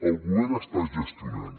el govern està gestionant